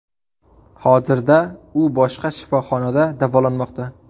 Hozirda u boshqa shifoxonada davolanmoqda.